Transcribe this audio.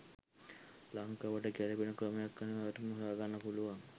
ලංකාවට ගැලපෙන ක්‍රමයක් අනිවාර්යෙන්ම හොයා ගන්න පුළුවන්